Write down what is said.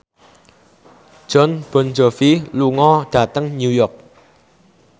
Jon Bon Jovi lunga dhateng New York